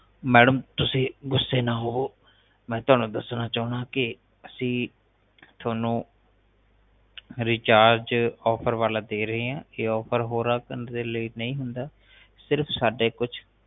madam ਤੁਸੀ ਗੁੱਸੇ ਨਾ ਹੋਵੋ ਮੈ ਤੁਹਾਨੂੰ ਦੱਸਣਾ ਚਾਉਂਦਾ ਹੈ ਕਿ ਅਸੀਂ ਤੁਹਾਨੂੰ ਰਿਚਾਰਜ ਆਫ਼ਰ ਵਾਲਾ ਦੇ ਰਹੇ ਹਾਂ ਇਹ ਆਫ਼ਰ ਹੋਰਾਂ ਨਹੀਂ ਹੁੰਦਾ ਇਹ ਸਿਰਫ ਸਾਡੇ ਕੁਛ